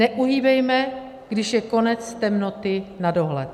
Neuhýbejme, když je konec temnoty na dohled.